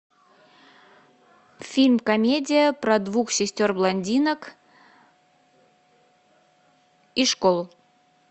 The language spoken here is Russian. фильм комедия про двух сестер блондинок и школу